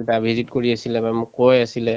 এটা visit কৰি আছিলে নহয় মোক কৈ আছিলে